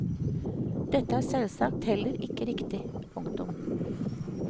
Dette er selvsagt heller ikke riktig. punktum